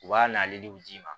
U b'a n'ale d'i ma